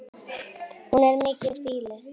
Það er mikið býli.